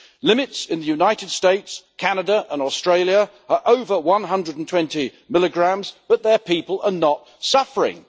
Limits in the United States, Canada and Australia are over 120 mg, but their people are not suffering.